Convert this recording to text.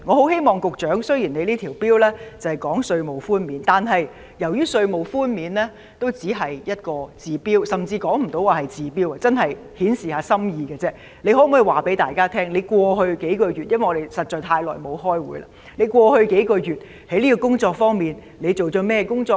雖然局長提出的這項《條例草案》只關乎稅務寬免，但稅務寬免只能治標，甚至連治標也說不上，只可算稍為顯示心意，局長可否談談——因為我們實在太長時間沒有開會——你在過去數月就這方面做了甚麼工作。